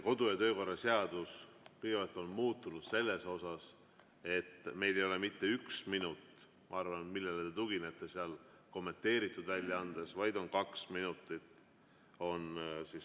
Kodu‑ ja töökorra seadus on kõigepealt muutunud selles, et meil ei ole saalikutsung mitte üks minut – ma arvan, te tuginete kommenteeritud väljaandele –, vaid on kaks minutit.